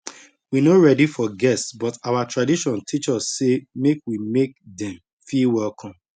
we no ready for guest but our tradition teach us say make we make dem feel welcome